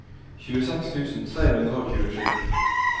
tjueseks tusen tre hundre og tjuesju